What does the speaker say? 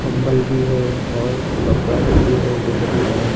मल भी है और कपड़ा लोग भी है बहुत सारा--